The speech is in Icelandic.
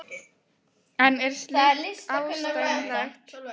En er slíkt ásættanlegt?